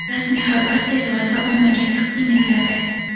Rasmiy xabar tez orada ommaga taqdim etiladi.